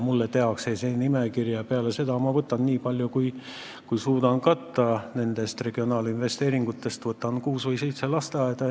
Mulle tehakse see nimekiri ja peale seda ma võtan ette nii palju, kui ma suudan nendest regionaalinvesteeringutest katta: kuus või seitse lasteaeda.